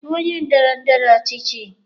Ị bụ onye ndọrọ ndọrọ ọchịchị?